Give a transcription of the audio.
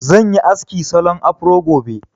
Zan yi aski salon afro gobe